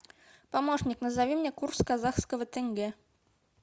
помощник назови мне курс казахского тенге